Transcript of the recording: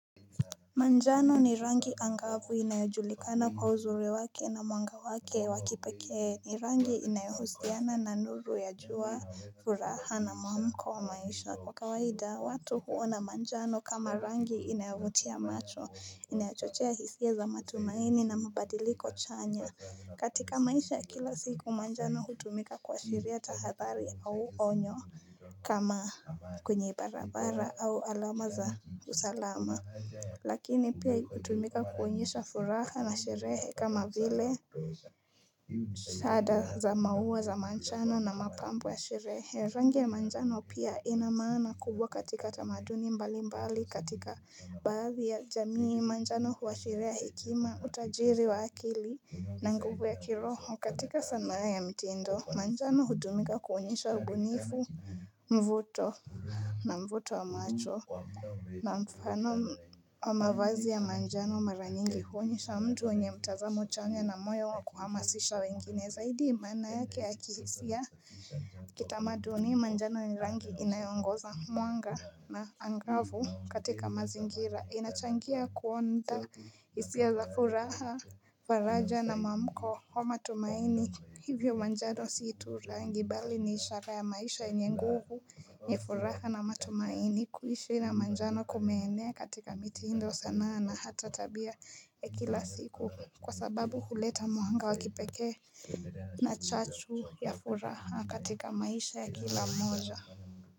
Manjano ni rangi angavu inayojulikana kwa uzuri wake na mwanga wake wa kipekee ni rangi inayohusiana na nuru ya jua furaha na mwamko wa maisha Kwa kawaida watu huwa na manjano kama rangi inayavutia macho inayachochea hisia za matumaini na mabadiliko chanya katika maisha ya kila siku manjano hutumika kuashiria tahadhari au onyo kama kwenye barabara au alama za usalama Lakini pia hutumika kuonyesha furaha na sherehe kama vile Shada za maua za manjano na mapambo ya sherehe Rangi ya manjano pia ina maana kubwa katika tamaduni mbali mbali katika Baadhi ya jamii manjano huashiria hekima utajiri wa akili na nguvu ya kiroho katika sanaa ya mtindo Manjano hutumika kuonyesha ubunifu mvuto na mvuto wa macho na mfano wa mavazi ya manjano mara nyingi huonyesha mtu mwenye mtazamo chanya na moyo wa kuhamasisha wengine zaidi maana yake ya kihisia Kitamaduni manjano ni rangi inayo ongoza mwanga na angavu katika mazingira inachangia kuonda hisia za furaha faraja na mwamko wa matumaini Hivyo manjano si tu rangi bali ni ishara ya maisha yenye nguvu ni furaha na matumaini kuishi na manjano kumeenea katika mitindo sanaa na hata tabia ya kila siku kwa sababu huleta mwanga wa kipekee na chachu ya furaha katika maisha ya kila mmoja.